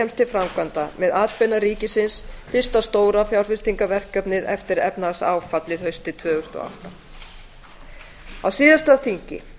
til framkvæmda með atbeina ríkisins fyrsta stóra fjárfestingarverkefnið eftir efnahagsáfallið haustið tvö þúsund og átta á síðasta þingi